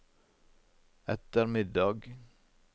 ettermiddag